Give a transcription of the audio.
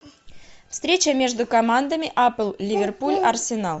встреча между командами апл ливерпуль арсенал